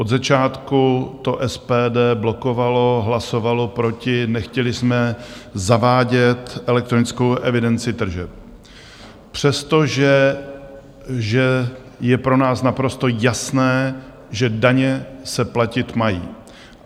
Od začátku to SPD blokovalo, hlasovalo proti, nechtěli jsme zavádět elektronickou evidenci tržeb, přestože je pro nás naprosto jasné, že daně se platit mají.